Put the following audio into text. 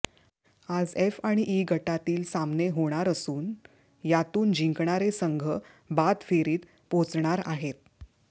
आज एफ आणि इ गटातील सामने होणार असून यातून जिंकणारे संघ बाद फेरीत पोहोचणार आहेत